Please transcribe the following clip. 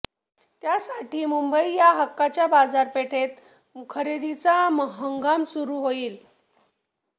त्यासाठी मुंबई या हक्काच्या बाजारपेठेत खरेदीचा हंगाम सुरू होईल